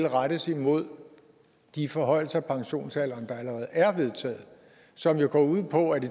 rettes imod de forhøjelser af pensionsalderen der allerede er vedtaget og som jo går ud på at i